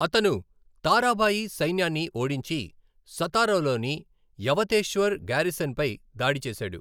అతను, తారాబాయి సైన్యాన్ని ఓడించి సతారాలోని యవతేశ్వర్ గారిసన్పై దాడి చేశాడు.